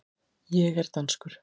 Ég er danskur.